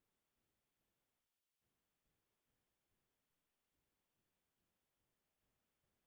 আৰু সেনেকোৱা য্দি হয় যাই তেতিয়া হ্'লে আমাৰ পৃথিৱীখন বা আমাৰ ভাৰতৰ প্ৰতি বহুত ডাঙৰ